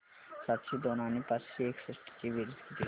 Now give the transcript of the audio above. सातशे दोन आणि पाचशे एकसष्ट ची बेरीज किती होईल